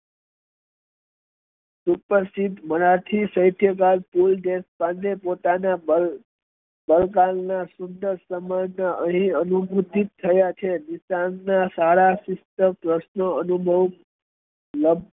સુપ્રશિધ મરાઠી સાહિત્યકાર કુલ દેશપાંડે પોતાના બાળકાળ ના સુંદર સમય ને અહી અનુભુતીત થયા છે સારા વસ્તુ અને મું